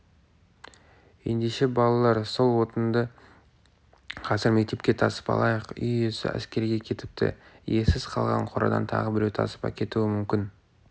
ендеше балалар сол отынды қазір мектепке тасып алайық үй иесі әскерге кетіпті иесіз қалған қорадан тағы біреу тасып әкетуі мүмкін